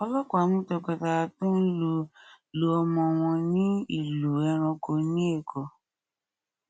ọlọpàá mú tọkọtaya tó ń lu lu ọmọ wọn ní ìlú ẹranko ní èkó